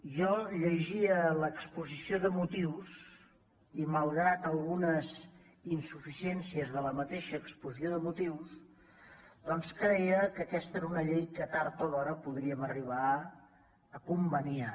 jo llegia l’exposició de motius i malgrat algunes insuficiències de la mateixa exposició de motius doncs creia que aquesta era una llei que tard o d’hora podríem arribar a conveniar